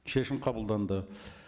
шешім қабылданды